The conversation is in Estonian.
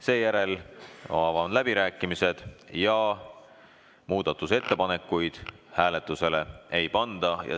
Seejärel avan läbirääkimised ja muudatusettepanekuid hääletusele ei panda.